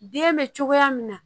Den bɛ cogoya min na